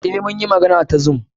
Eh, mun yi magana ta zoom.